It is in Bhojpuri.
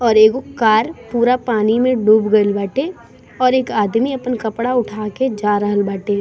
और एगो कार पूरा पानी में डूब गइल बाटे और एक आदमी अपन कपड़ा उठा के जा रहल बाटे।